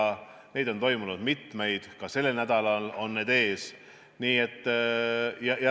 Neid kohtumisi on toimunud mitmeid, ka sellel nädalal on neid ees.